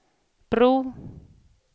bro